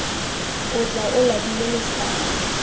o tla o labile letshwao